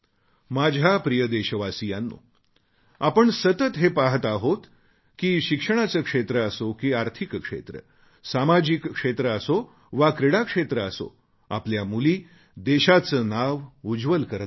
माझ्या प्रिय देशवासीयांनो आपण सतत हे पाहत आहोत की शिक्षणाचे क्षेत्र असो की आर्थिक क्षेत्र सामाजिक क्षेत्र असो वा क्रीडा क्षेत्र असो आपल्या मुली देशाचे नाव उज्ज्वल करत आहेत